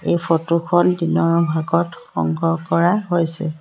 এই ফটো খন দিনৰ ভাগত সংগ্ৰহ কৰা হৈছে।